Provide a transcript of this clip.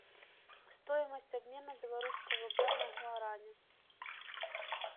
стоимость обмена белорусского рубля на гуарани